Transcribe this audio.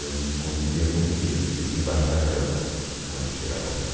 Eu não convivia com ninguém, eu vivia embaixo da cama quando chegava alguém.